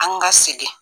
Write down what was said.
An ka sigi